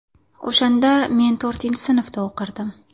O‘shanda men to‘rtinchi sinfda o‘qirdim.